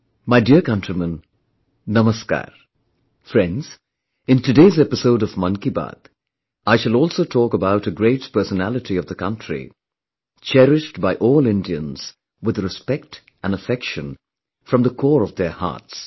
My dear countrymen, Namaskar, Friends, in today's episode of Mann Ki Baat, I shall also talk about a great personality of the country, cherished by all Indians with respect and affection from the core of their hearts